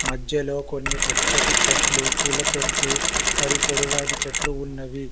మధ్యలో కొన్ని పచ్చటి చెట్లు పూలతొట్లు మరియు పొడవాటి చెట్లు ఉన్నవి.